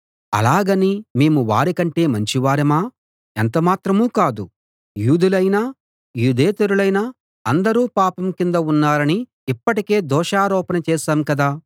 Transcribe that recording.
అలాగని మేము వారికంటే మంచివారమా ఎంతమాత్రం కాదు యూదులైనా యూదేతరులైనా అందరూ పాపం కింద ఉన్నారని ఇప్పటికే దోషారోపణ చేశాం కదా